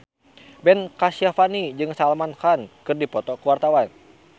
Ben Kasyafani jeung Salman Khan keur dipoto ku wartawan